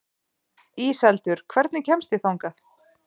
Íseldur, hvernig kemst ég þangað?